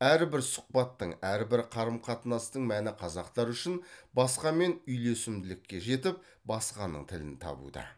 әрбір сұхбаттың әрбір қарым қатынастың мәні қазақтар үшін басқамен үйлесімділікке жетіп басқаның тілін табуда